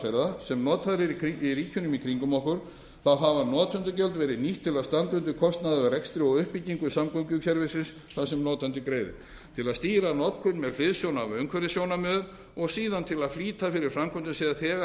aðferða sem notaðar eru í ríkjum í kringum okkur þá hafa notendagjöld verið nýtt til að standa undir kostnaði af rekstri og uppbyggingu samgöngukerfisins þar sem notandi greiðir til að stýra notkun með hliðsjón af umhverfissjónarmiðum og síðan til að flýta fyrir framkvæmdum sem þegar